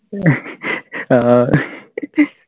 ആഹ്